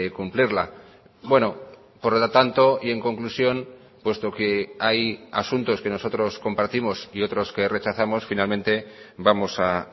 cumplirla bueno por lo tanto y en conclusión puesto que hay asuntos que nosotros compartimos y otros que rechazamos finalmente vamos a